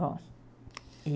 Bom, e...